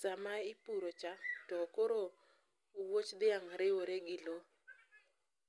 Sama ipurocha to koro owuoch dhiang' riwore gi lowo.